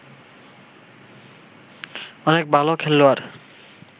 অনেক ভাল খেলোয়াড়